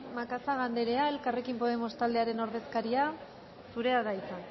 macazaga andrea elkarrekin podemos taldearen ordezkaria zurea da hitza